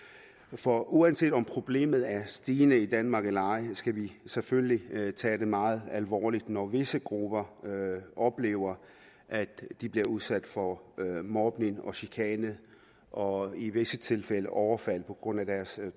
for uanset om problemet er stigende i danmark eller ej skal vi selvfølgelig tage det meget alvorligt når visse grupper oplever at de bliver udsat for mobning og chikane og i visse tilfælde overfald på grund af deres